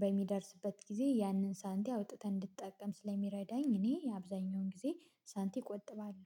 በሚደርስበት ጊዜ ያንን ሳንቲ አውጥተን እንድትጠቀም ስለሚረዳኝ እኔ የአብዛኛውን ጊዜ ሳንቲ እቆጥባለሁ